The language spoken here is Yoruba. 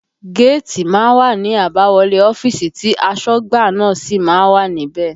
Géètì má ń wà ní àbáwọlé ọ́fíìsì tí asọ́gbà náà sì má ń wà níbẹ̀